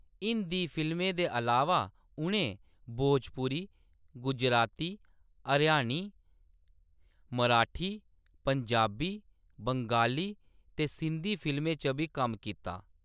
हिंदी फिल्में दे अलावा, उʼनें भोजपुरी, गुजराती, हरियाणी, मराठी, पंजाबी, बंगाली ते सिंधी फिल्में च बी कम्म कीता।